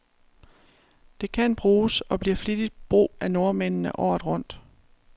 Det kan bruges, og bliver flittigt brug af nordmændene, året rundt.